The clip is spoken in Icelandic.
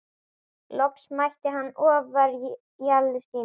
Loks mætti hann ofjarli sínum.